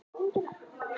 Föst laun